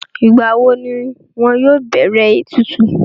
Ìgbàwo ni wọn yóò bẹ̀rẹ̀ ètùtù?